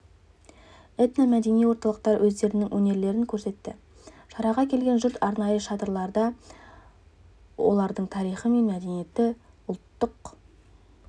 этно-мәдени орталықтар өздерінің өнерлерін көрсетті шараға келген жұрт арнайы шатырларда олардың тарихы мен мәдениеті ұлттық